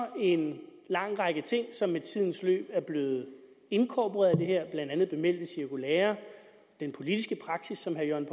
en lang række ting som i tidens løb er blevet inkorporeret blandt andet bemeldte cirkulære den politiske praksis som herre jørgen